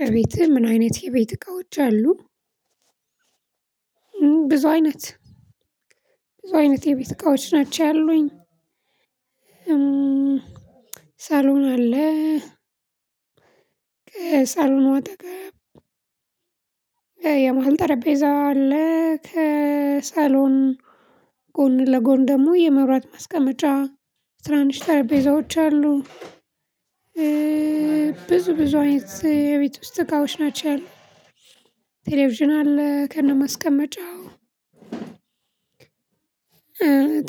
በቤትህ ምን አይነት የቤት እቃዎች አሉ? ብዙ አይነት ብዙ አይነት የቤት እቃዎች ናቸው ያሉኝ። ሳሎን አለ። ከሳሎኑ አጠገብ የመሃል ጠረጴዛ አለ ከሳሎን ጎን ለጎን ደግሞ የመብራት ማስቀመጫ ትናንሽ ጠረቤዛዎች አሉ። ብዙ ብዙ አይነት የቤት ውስጥ እቃዎች ናቸው ያሉን። ቴሌቪዥን አለ ከነማስቀመጫው።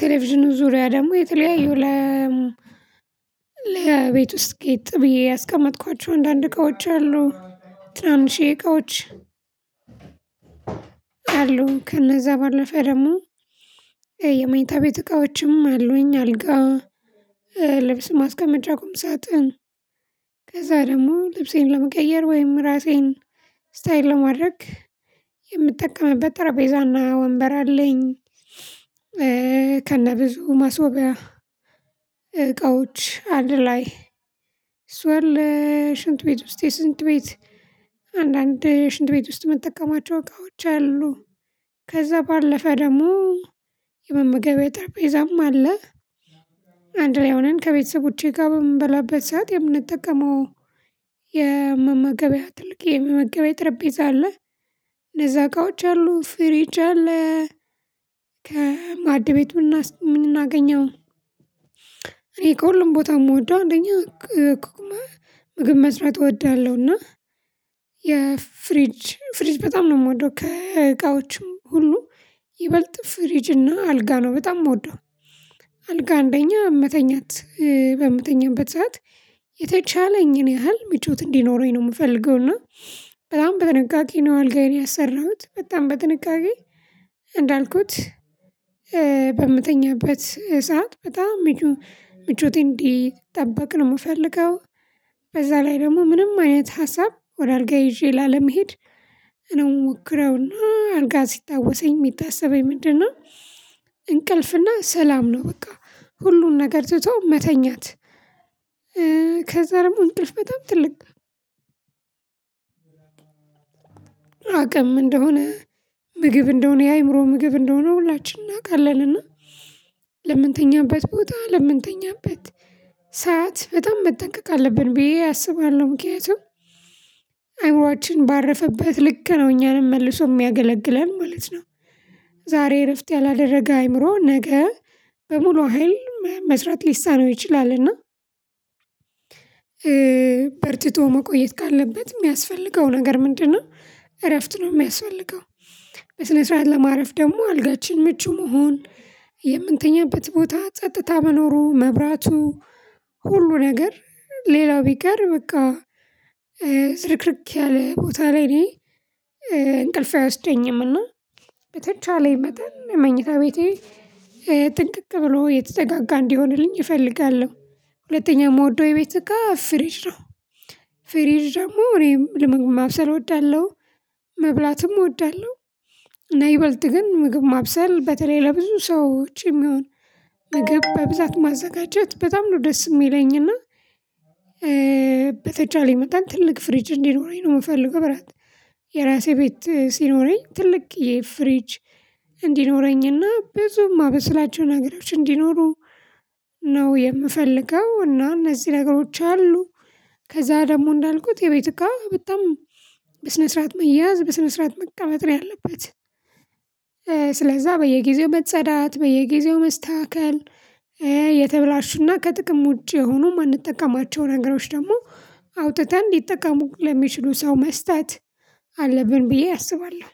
ቴሌቪዥኑ ዙሪያ ደግሞ የተለያዩ ለቤት ውስጥ ጌጥ ብዬ ያስቀመጥኳቸው አንዳንድ እቃዎች አሉ። ትናንሺየ እቃዎች አሉ ከነዛ ባለፈ ደግሞ የመኝታ ቤት እቃዎችም አሉኝ። አልጋ ልብስ ማስቀመጫ ቁም ሳጥን ከዛ ደግሞ ልብሴን ለመቀየር ወይም ራሴን ስታይል ለማድረግ የምጠቀምበት ጠራቤዛና ወንበር አለኝ። ከነብዙ ማስዋቢያ እቃዎች አንድ ላይ እሱ አለ ሽንት ቤት ውስጥ የሽንት ቤት አንዳንድ ሽንት ቤት ውስጥ ምጠቀማቸው እቃዎች አሉ። ከዛ ባለፈ ደግሞ የመመገቢያ ጠርጴዛም አለ። አንድ ላይ ሁነን ከቤተሰቦቼ ጋር በምንበላበት ሰዓት የምንጠቀመው የመመገቢያ ትልቅ የመመገቢያ ጠርቤዛ አለ። ለዛ እቃዎች አለ ፍሬጅ አለ። ከማዕድ ቤቱ እናስ ምናገኘው እኔ ከሁሉም ቦታ የምወደው አንደኛ ምግብ መስራት እወዳለሁ እና የፍሪጅ ፍሪጅ በጣም ነው ምወደው ከእቃዎችም ሁሉ ይበልጥ ፍሪጅ እና አልጋ ነው በጣም ምወደው። አልጋ አንደኛ መተኛት በምተኛበት ሰዓት የተቻለኝን ያህል ምቾት እንዲኖረኝ ነው ምፈልገው። እና በጣም በጥንቃቄ ነው አልጋዬን ያሰራሁት በጣም በጥንቃቄ እንዳልኩት በምተኛበት ሰዓት በጣም ምቾቴን እንዲጠብቅ ነው ምፈልገው። በዛ ላይ ደግሞ ምንም አይነት ሀሳብ ወደ አልጋየ ይዤ ላለመሄድ ነው ምሞክረውና አልጋ ሲታወሰኝ ሚታስበኝ ምንድን ነው? እንቅልፍ እና ሰላም ነው በቃ ሁሉን ነገር ትቶ መተኛት። ከዛ ደግሞ እንቅልፍ በጣም ትልቅ አቅም እንደሆነ ምግብ እንደሆነ የአእምሮ ምግብ እንደሆነ ሁላችንም እናውቃለን። እና ለምንተኛበት ቦታ ለምንተኛበት ሰዓት በጣም መጠንቀቅ አለብን ብዬ አስባለሁ ምክንያቱም አይምሮአችን ባረፈበት ልክ ነው እኛንም መልሶ ሚያገለግለን ማለት ነው። ዛሬ እረፍት ያላደረገ አይምሮ ነገ በሙሉ ሀይል መስራት ሊሳነው ይችላልና። በርትቶ መቆየት ካለበት ሚያስፈልገው ነገር ምንድን ነው እረፍት ነው ሚያስፈልገው? በስነ ስርዓት ለማረፍ ደግሞ አልጋችን ምቹ መሆን የምንተኛበት ቦታ ጸጥታ መኖሩ መብራቱ ሁሉ ነገር ሌላው ቢቀር በቃ ትርክርክ ያለ ቦታ ላይ እኔ እንቅልፍ አይወስደኝም። እና በተቻለኝ መጠን መኝታ ቤቴ ጥንቅቅ ብሎ የተዘጋጋ እንዲሆንልኝ እፈልጋለሁ። ሁለተኛ ምወደው የቤት እቃ ፍሪጅ ነው። ፍሪጅ ደግሞ እኔም ለምግብ ማብሰል እወዳለሁ መብላትም እወዳለሁ እና ይበልጥ ግን ምግብ ማብሰል በተለይ ለብዙ ሰዎች የሚሆን ምግብ በብዛት ማዘጋጀት በጣም ነው ደስ የሚለኝና። በተቻለኝ መጠን ትልቅ ፍሪጅ እንዲኖረኝ ነው የምፈልገው ብራት የራሴ ቤት ሲኖረኝ ትልቅየ ፍሪጅ እንዲኖረኝና ብዙም ማበስላቸው ነገሮች እንዲኖሩ ነው የምፈልገው። እና እነዚህ ነገሮች አሉ። ከዛ ደግሞ እንዳልኩት የቤት እቃ በጣም በስነ ስርዓት መያዝ በስነ ስርዓት መቀመጥ ያለበት ስለዛ በየጊዜው መጸዳት በየጊዜው መስተካከል የተበላሹና ከጥቅም ውጪ የሆኑ ማንጠቀማቸው ነገሮች ደግሞ አውጥተን እንዲጠቀሙ ለሚችሉ ሰው መስጠት አለብን ብዬ አስባለሁ